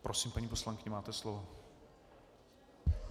Prosím, paní poslankyně, máte slovo.